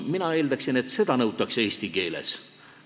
Mina eeldaksin, et seda nõutakse eesti keele oskuse puhul.